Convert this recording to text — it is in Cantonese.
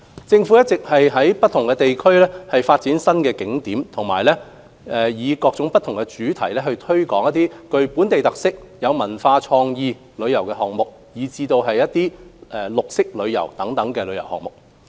政府一直在不同地區發展新景點及以各不同主題推展具本地特色、文化和創意旅遊項目，以及綠色旅遊等項目。